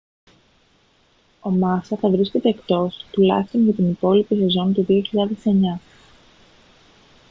ο μάσα θα βρίσκεται εκτός τουλάχιστον για την υπόλοιπη σεζόν του 2009